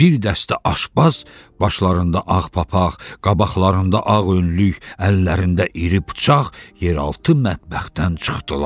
Bir dəstə aşbaz başlarında ağ papaq, qabaqlarında ağ önlük, əllərində iri bıçaq yeraltı mətbəxdən çıxdılar.